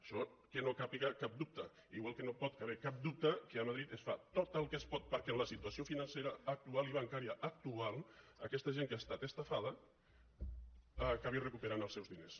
això que no hi càpiga cap dubte igual que no hi pot caber cap dubte que a madrid es fa tot el que es pot perquè en la situació financera actual i bancària actual aquesta gent que ha estat estafada aca·bi recuperant els seus diners